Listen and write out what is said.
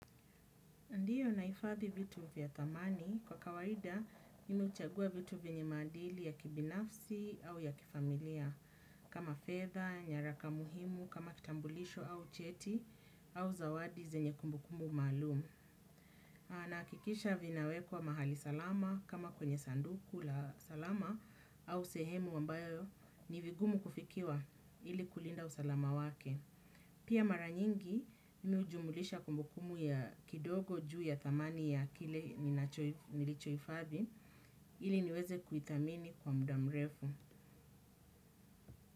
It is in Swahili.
Ndiyo naifadhi vitu vya thamani kwa kawaida mimi huchagua vitu vyenye maadili ya kibinafsi au ya kifamilia. Kama fedha, nyaraka muhimu, kama kitambulisho au cheti au zawadi zenye kumbukumu maalum. Nahakikisha vinawekwa mahali salama kama kwenye sanduku la salama au sehemu ambayo ni vigumu kufikiwa ili kulinda usalama wake. Pia mara nyingi mimi hujumulisha kumbukumu ya kidogo juu ya thamani ya kile nilichohifadhi ili niweze kuithamini kwa muda mrefu.